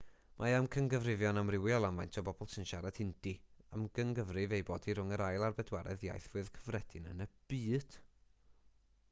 mae amcangyfrifon amrywiol am faint o bobl sy'n siarad hindi amcangyfrif ei bod hi rhwng yr ail a'r bedwaredd iaith fwyaf cyffredin yn y byd